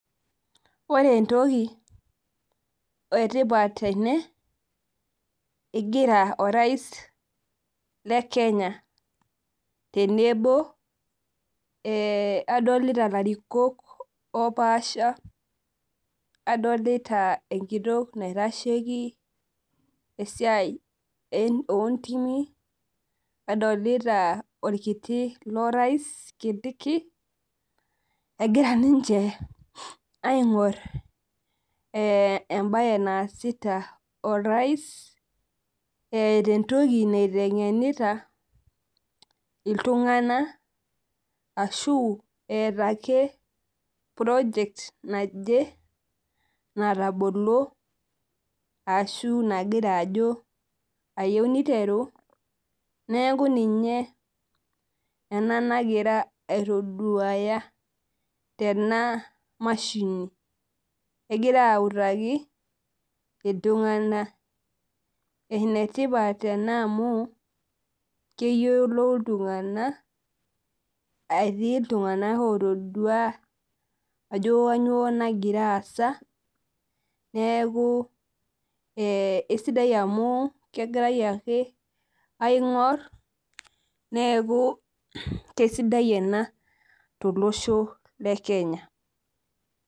Ore entoki etipat tene, igira orais le Kenya tenebo adolita larikok opaasha, adolita enkitok naitasheki esiai ontimi, nadolita orkiti lorais Kindiki, egira ninche aing'or ebae naasita orais, eeta entoki naiteng'enita iltung'anak ashu eeta ake project naje natabolo ashu nagira ajo ayieu niteru, neeku ninye ena nagira aitoduaya tena mashini. Egira autaki, iltung'anak. Enetipat ena amu keyiolou iltung'anak, etii iltung'anak otodua ajo kanyioo nagira aasa, neeku esidai amu kegirai ake aing'or, neeku kesidai ena tolosho le Kenya.